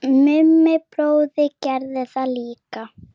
Mummi bróðir gerði það líka.